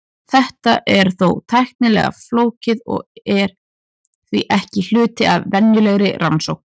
Þetta er þó tæknilega flókið og er því ekki hluti af venjulegri rannsókn.